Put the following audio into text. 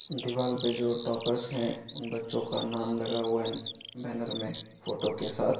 दीवाल पे जो टॉपर्स है बच्चों का नाम लगा हुआ बेनर मे फोटो के साथ।